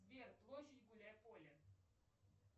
сбер площадь гуляй поле